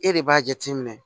E de b'a jateminɛ